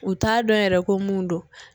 U t'a dɔn yɛrɛ ko mun don